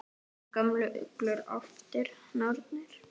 Þessar gömlu uglur, álftir, nornir?